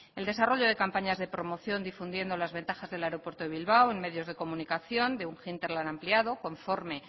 el desarrollo de campañas de promoción difundiendo las ventajas del aeropuerto de bilbao en medios de comunicación de un hinterland ampliado conforme